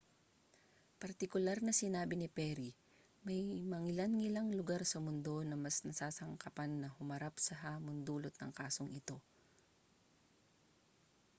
partikular na sinabi ni perry may mangilan-ngilang lugar sa mundo na mas nasasangkapan na humarap sa hamong dulot ng kasong ito